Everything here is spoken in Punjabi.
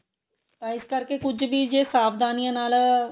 ਤਾਂ ਇਸ ਕਰਕੇ ਕੁੱਝ ਵੀ ਜੇ ਸਾਵਧਾਨੀਆਂ ਨਾਲ